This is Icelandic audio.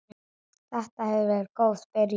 Þetta hefur verið góð byrjun.